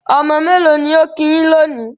Ọmọ mélò ni ó kí yín lónìí?